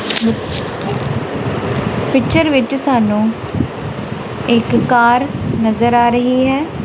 Picture ਵਿੱਚ ਸਾਨੂੰ ਇੱਕ ਕਾਰ ਨਜ਼ਰ ਆ ਰਹੀ ਹੈ।